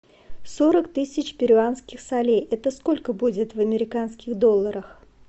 сорок тысяч перуанских солей это сколько будет в американских долларах